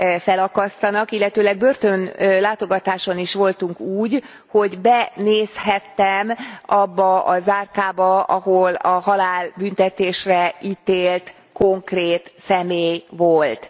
felakasztanak. Illetőleg börtönlátogatáson is voltunk úgy, hogy benézhettem abba a zárkába, ahol a halálbüntetésre ítélt konkrét személy volt.